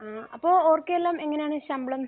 ആഹ്. അപ്പോൾ അവർക്കെല്ലാം എങ്ങനെയാണ് ശമ്പളം?